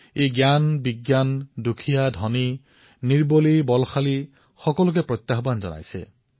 ই জ্ঞান বিজ্ঞান দুখীয়া ধনী দুৰ্বলী শক্তিশালী সকলোকে প্ৰত্যাহ্বান জনাইছে